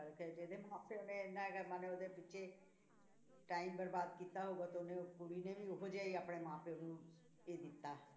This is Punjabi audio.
ਹੈ ਜਿਹਦੇ ਮਾਂ ਪਿਓ ਨੇ ਇੰਨਾ ਕੁ ਮਨੇ ਉਹਦੇ ਪਿੱਛੇ time ਬਰਬਾਦ ਕੀਤਾ ਹੋਊਗਾ ਤਾਂ ਉਹਨੇ ਕੁੜੀ ਨੇ ਵੀ ਉਹ ਜਿਹਾ ਹੀ ਆਪਣੇ ਮਾਂ ਪਿਓ ਨੂੰ ਇਹ ਦਿੱਤਾ